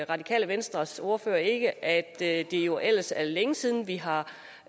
radikale venstres ordfører ikke at det jo ellers er længe siden vi har